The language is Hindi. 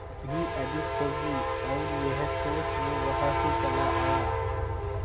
भी अधिक होगी और यह सोच वो वहां से चला आया